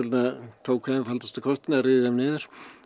tóku einfaldasta kostinn að ryðja þeim niður